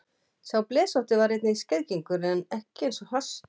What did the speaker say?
Sá blesótti var einnig skeiðgengur en ekki eins hastur.